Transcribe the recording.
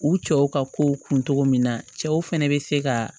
U cɛw ka kow kun cogo min na cɛw fɛnɛ bɛ se ka